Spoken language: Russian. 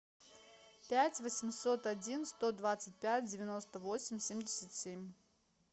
пять восемьсот один сто двадцать пять девяносто восемь семьдесят семь